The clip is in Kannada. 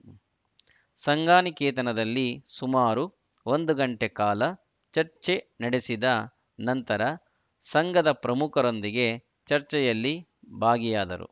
ಸಂಘನಿಕೇತನದಲ್ಲಿ ಸುಮಾರು ಒಂದು ಗಂಟೆ ಕಾಲ ಚರ್ಚೆ ನಡೆಸಿದ ನಂತರ ಸಂಘದ ಪ್ರಮುಖರೊಂದಿಗೆ ಚರ್ಚೆಯಲ್ಲಿ ಭಾಗಿಯಾದರು